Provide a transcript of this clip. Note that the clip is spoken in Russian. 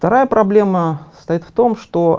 вторая проблема состоит в том что